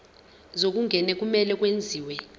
zokungena kumele kwenziwe